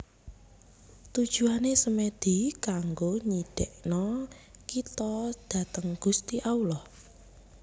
Tujuane Semedi kanggo nyidekno kito dateng Gusti Allah